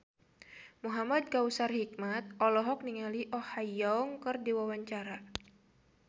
Muhamad Kautsar Hikmat olohok ningali Oh Ha Young keur diwawancara